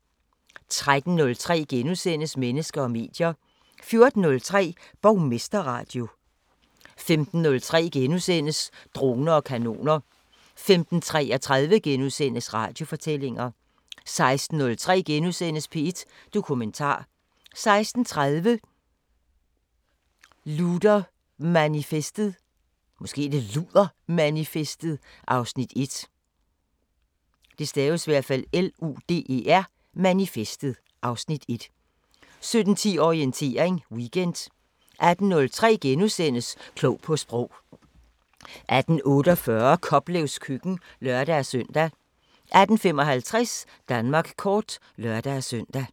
13:03: Mennesker og medier * 14:03: Borgmesterradio 15:03: Droner og kanoner * 15:33: Radiofortællinger * 16:03: P1 Dokumentar * 16:30: Ludermanifestet (Afs. 1) 17:10: Orientering Weekend 18:03: Klog på Sprog * 18:48: Koplevs køkken (lør-søn) 18:55: Danmark kort (lør-søn)